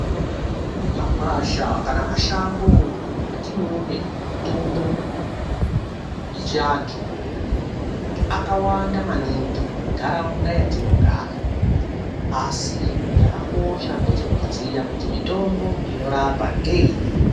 Makwasha kana mashango atinoone mitombo yechiantu akawanda maningi munharaunda matinogara asi chakakosha ngechekuziya kuti mitombo inorapa ngeiri.